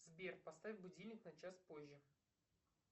сбер поставь будильник на час позже